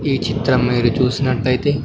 ఈ చిత్రం మీరు చూసినట్టయితే.